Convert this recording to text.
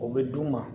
O bɛ d'u ma